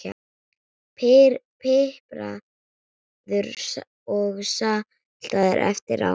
Pipraðu og saltaðu eftir á.